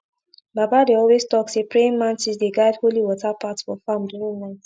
baba dey always talk say praying mantis dey guide holy water path for farm during night